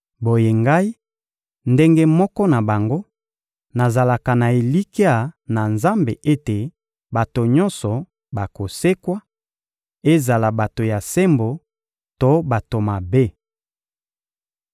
Boye ngai, ndenge moko na bango, nazalaka na elikya na Nzambe ete bato nyonso bakosekwa, ezala bato ya sembo to bato mabe.